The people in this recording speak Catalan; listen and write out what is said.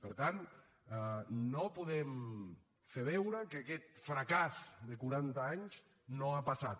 per tant no podem fer veure que aquest fracàs de quaranta anys no ha passat